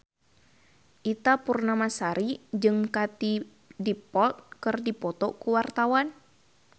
Ita Purnamasari jeung Katie Dippold keur dipoto ku wartawan